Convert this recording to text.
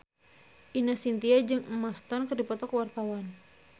Ine Shintya jeung Emma Stone keur dipoto ku wartawan